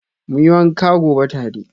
Muyi wanka gobe tare.